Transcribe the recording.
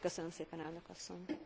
Köszönöm szépen Elnök asszony!